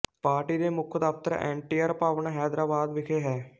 party ਦੇ ਮੁੱਖ ਦਫਤਰ ਐਨਟੀਆਰ ਭਵਨ ਹੈਦਰਾਬਾਦ ਵਿਖੇ ਹੈ